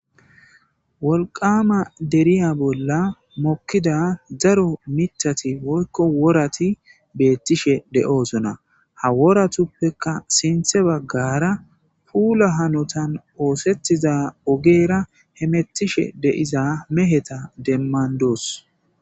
Wolqama derya bolla mokida daro mitati woyko worati betishe de'osona ha woatupeka sinta bagara gara pula hanotan oetida ogera hetiza meheta demandos